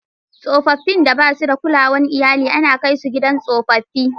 Tsoffin da ba su da kulawar iyali ana kai su gidan tsofaffi.